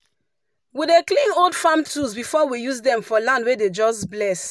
we dey clean old farm tools before we use dem for land wey dem just bless.